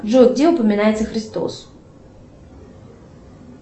джой где упоминается христос